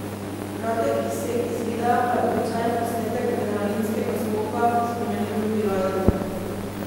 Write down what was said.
Kratek izsek iz videa pa je običajen posnetek adrenalinskega skoka spremenil v viralnega.